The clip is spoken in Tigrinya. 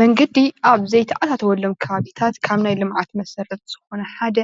መንገዲ ኣብ ዘይተኣታቶዎሎም ኸባብታት ካብ ናይ ልምዒት መሰረት ዝኾነ ሓደ